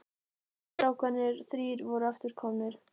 Stóru strákarnir þrír voru aftur komnir.